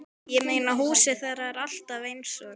Ég meina, húsið þeirra er alltaf eins og